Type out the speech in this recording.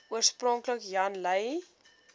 oorspronklik jan lui